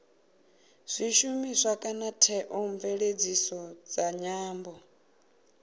zwishumiswa kana theomveledziso dza nyambo